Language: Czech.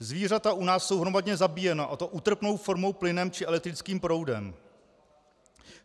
Zvířata u nás jsou hromadně zabíjena, a to útrpnou formou plynem či elektrickým proudem.